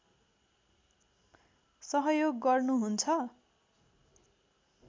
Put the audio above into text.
सहयोग गर्नु हुन्छ